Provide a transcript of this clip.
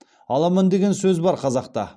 аламан деген сөз бар қазақта